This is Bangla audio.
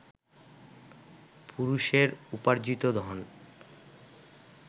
পুরুষের উপার্জ্জিত ধন